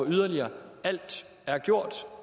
yderligere alt er gjort